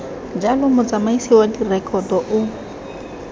jalo motsamaisi wa direkoto o